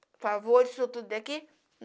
Por favor, isso tudo daqui?